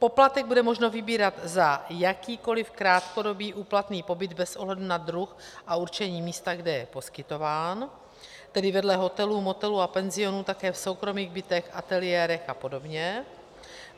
Poplatek bude možno vybírat za jakýkoli krátkodobý úplatný pobyt bez ohledu na druh a určení místa, kde je poskytován, tedy vedle hotelů, motelů a penzionů také v soukromých bytech, ateliérech a podobně.